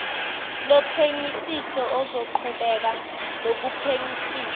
lophenyisiso ozoqhubeka nokuphenyisisa